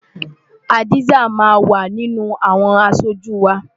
Hadza máa wà nínú àwọn aṣojú wa.